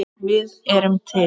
Við erum til!